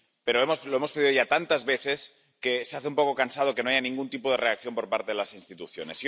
Pero lo hemos pedido ya tantas veces que se hace un poco cansado que no haya ningún tipo de reacción por parte de las instituciones.